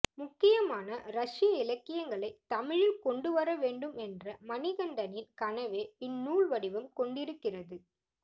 முக்கியமான ரஷ்ய இலக்கியங்களைத் தமிழில் கொண்டு வர வேண்டும் என்ற மணிகண்டனின் கனவே இந்நூல் வடிவம் கொண்டிருக்கிறது